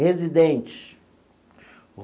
Residente.